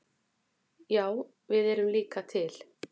Já við erum líka til!